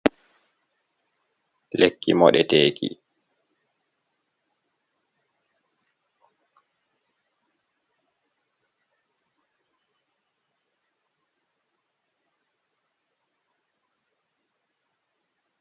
Lekki mo ɗe teeki.